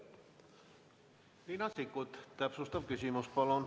Riina Sikkut, täpsustav küsimus palun!